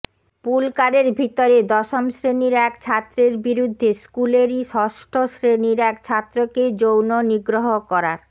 পুলকারের ভিতরে দশম শ্রেণীর এক ছাত্রের বিরুদ্ধে স্কুলেরই ষষ্ঠ শ্রেণীর এক ছাত্রকে যৌন নিগ্রহ করার